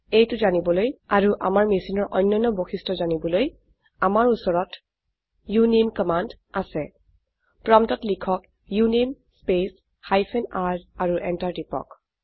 এইটো জানিবলৈ আৰু আমাৰ মেছিনৰ অন্যান্য বৈশিষ্ট্য জানিবলৈ আমাৰ উচৰত উনামে কামাণ্ড আছে প্ৰম্পটত লিখক উনামে স্পেচ হাইফেন r আৰু এন্টাৰ টিপক